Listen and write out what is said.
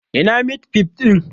Ina mit fif ɗin?